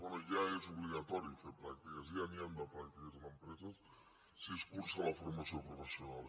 bé ja és obligatori fer pràctiques ja n’hi han de pràctiques en empreses si es cursa la formació professional